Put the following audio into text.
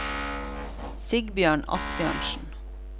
Sigbjørn Asbjørnsen